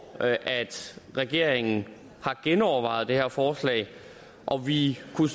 at at regeringen har genovervejet det her forslag og vi kunne